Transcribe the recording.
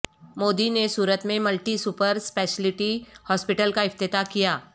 مودی نے صورت میں multi super speciality hospital کا افتتاح کیا